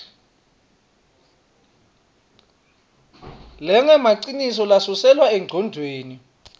lengemaciniso nalesuselwa engcondvweni